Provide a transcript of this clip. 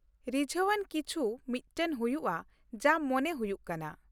ᱨᱤᱡᱷᱟᱹᱣ ᱟᱱ ᱠᱤᱪᱷᱩ ᱢᱤᱫᱴᱟᱜ ᱦᱩᱭᱩᱜᱼᱟ ᱡᱟ ᱢᱚᱱᱮ ᱦᱩᱭᱩᱜ ᱠᱟᱱᱟ ᱾